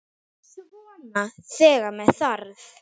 Þá er hvergi að sjá.